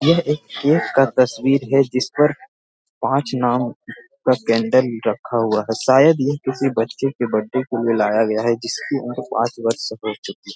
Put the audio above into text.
यह एक केक का तस्वीर है जिस पर पाँच नाम का कैंडल रखा हुआ हैं शायद यह किसी बच्चे के बर्थडे को मिलाया गया है जिसकी उम्र पाँच वर्ष हो चुकी।